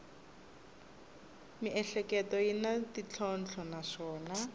miehleketo yi na ntlhontlho naswona